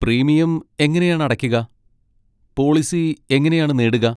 Premium എങ്ങനെയാണ് അടക്കുക, policy എങ്ങനെയാണ് നേടുക?